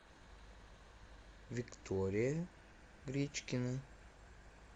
виктория гречкина